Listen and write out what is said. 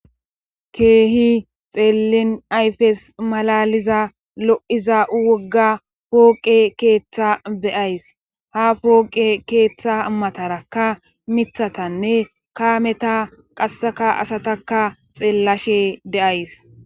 keehin xeellin ayfes malaaliza lo7iza wogga pooqe keeththaa be7ays;ha pooqe keettaa matarakka mithathanne kaameta qasseka asatakka xeellashe de7ays.